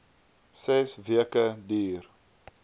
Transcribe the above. ses weke duur